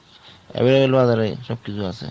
এই সব কিছু আছে।